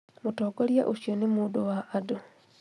Mũtongoria ũcio nĩ mũndũ wa andũ